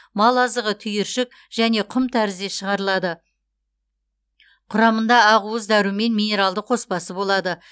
мал азығы түйіршік және құм тәрізде шығарылады құрамында ақуыз дәрумен минералды қоспасы болады